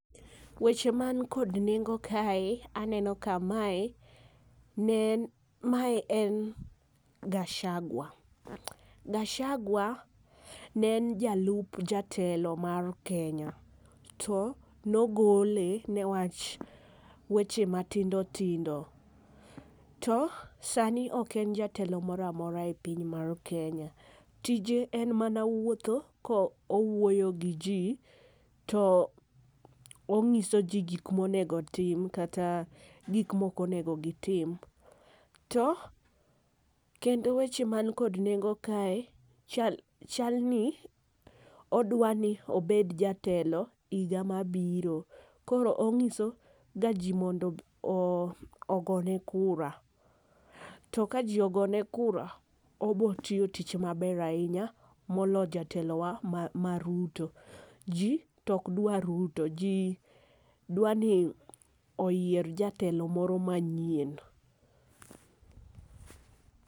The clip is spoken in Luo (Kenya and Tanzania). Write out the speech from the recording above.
Weche man kod nengo kae aneno ka mae ne en ma en Gachagua. Gachagua ne en jalup jatelo mar Kenya to ne ogole ne wach weche matindo tindo to sani ok en jatelo moro amora e piny mar Kenya. Saa ni tije en mana wuotho ko owuoyo gi ji to ong'iso ji gik ma onego otim kata gik ma ok onego gi tim. To kendo weche man kod nengo kae chal ni odwa ni obed jatelo higa ma biro. Koro ong'iso ga ji ni ogone kura. To ka ji ogone kura obiro tiyo tich ma ber ainya molo jatelo wa ma Ruto . Ji to ok dwar Ruto ji dwa ni oyier jatelo moro ma nyien.